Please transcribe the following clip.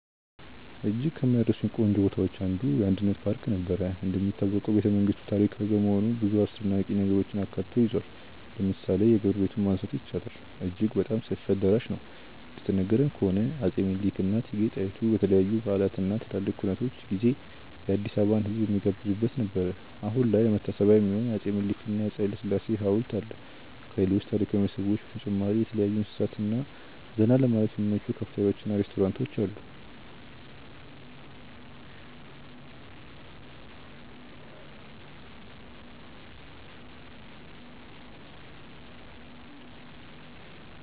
እጅግ ከማይረሱኝ ቆንጆ ቦታዎች አንዱ: የአንድነት ፓርክ ነበር። እንደሚታወቀው ቤተመንግስቱ ታሪካዊ በመሆኑ ብዙ አስደናቂ ነገሮችን አካቶ ይዟል። ለምሳሌ የግብር ቤቱን ማንሳት ይቻላል፦ አጅግ በጣም ሰፊ አዳራሽ ነው፤ እንደተነገረን ከሆነ አፄ ምኒልክ እና እቴጌ ጣይቱ በተለያዩ በዓላት እና ትላልቅ ኩነቶች ጊዜ የአዲስአበባን ህዝብ የሚጋብዙበት ነበር። አሁን ላይ ለመታሰቢያ የሚሆን የአፄ ምኒልክ እና የአፄ ሀይለስላሴ ሀውልት አለ። ከሌሎች ታሪካዊ መስህቦች በተጨማሪ የተለያዩ እንስሳት እና ዘና ለማለት የሚመቹ ካፍቴሪያዎች እና ሬስቶራንቶች አሉ።